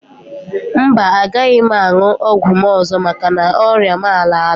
Mba, agaghị m aṅụ ọgwụ m ọzọ maka na ọrịa m a laala.